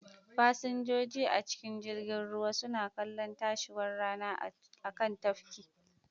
Fasinjoji a cikin jirgin ruwa suna kallon tashiwar rana a kan tafkin,